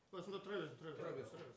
осында тұра бер тұра бер